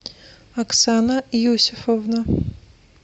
оксана иосифовна